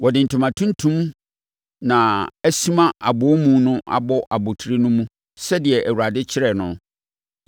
Wɔde ntoma tuntum na asina abɔnimu no abɔ abotire no mu sɛdeɛ Awurade kyerɛeɛ no.